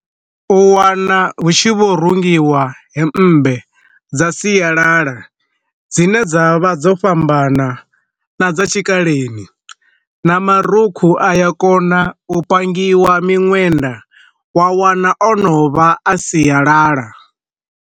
U wana hu tshi vho rungiwa hemmbe dza sialala dzine dza vha dzo fhambana na dza tshikaleni, na marukhu aya kona u pangiwa miṅwenda wa wana ono vha a siyalala.